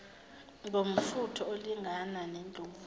ngomfutho olingana nendlovu